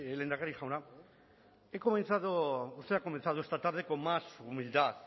lehendakari jauna he comenzado usted ha comenzado esta tarde con más humildad